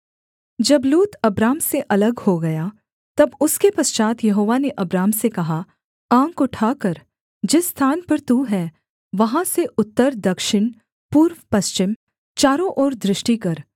जब लूत अब्राम से अलग हो गया तब उसके पश्चात् यहोवा ने अब्राम से कहा आँख उठाकर जिस स्थान पर तू है वहाँ से उत्तरदक्षिण पूर्वपश्चिम चारों ओर दृष्टि कर